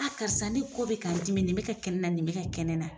karisa ne kɔ bɛ ka n dimi nin bɛ ka kɛ n na nin bɛ ka kɛ nɛ na